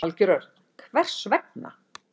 Valgeir Örn: Hvers vegna?